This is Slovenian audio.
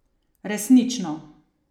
Resnično.